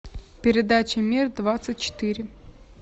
передача мир двадцать четыре